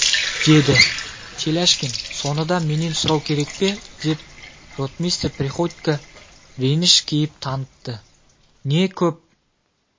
деді теляшкин соны да менен сұрау керек пе деп ротмистр приходько реніш кейіп танытты не көп